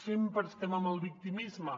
sempre estem amb el victimisme